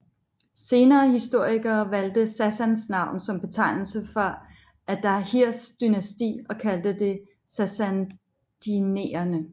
Senere historikere valgte Sassans navn som betegnelse for Ardahirs dynasti og kaldte det sassaniderne